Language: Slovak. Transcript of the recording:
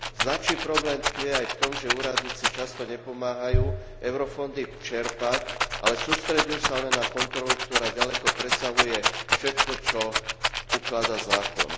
Značný problém tkvie aj v tom, že úradníci často nepomáhajú eurofondy čerpať, ale sústreďujú sa len na kontrolu, ktorá ďaleko presahuje všetko, čo ukladá zákon.